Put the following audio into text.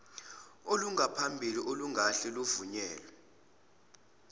olungaphambili olungahle luvunyelwe